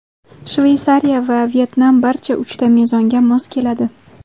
Shveysariya va Vyetnam barcha uchta mezonga mos keladi.